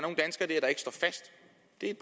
er